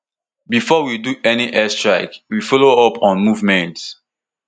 bifor we do any airstrike we follow up on movements